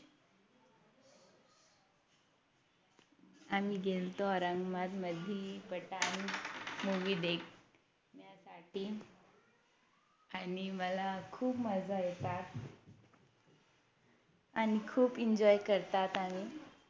आम्ही गेल्तो औरंगाबादमधि पठाण Movie देखण्यासाठी आणि मला खूप मजा येतात आणि खूप Enjoy करतात आम्ही